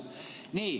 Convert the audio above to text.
Nii.